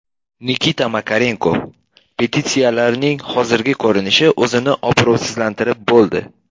Nikita Makarenko: Petitsiyalarning hozirgi ko‘rinishi o‘zini obro‘sizlantirib bo‘ldi.